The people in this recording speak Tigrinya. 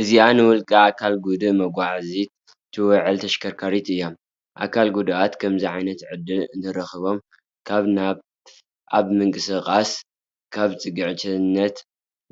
እዚኣ ንውልቀ ኣካል ጉዱእ መጓዓዓዚት ትውዕል ተሽከርካሪት እያ፡፡ ኣካል ጉዱኣት ከምዚ ዓይነት ዕድል እንተረኺቦም ካብ ናብ ኣብ ምንቅስቓስ ካብ ፅግዕተኝነት